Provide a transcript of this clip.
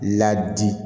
Ladi